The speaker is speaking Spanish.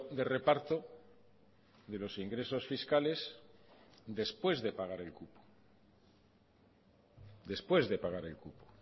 de reparto de los ingresos fiscales después de pagar el cupo después de pagar el cupo